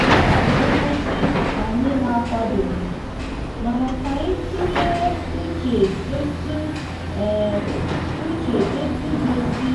nkea bụ nkwụsi anya na akwado ghi mana ka anyi tule uche etu uche etu ga esi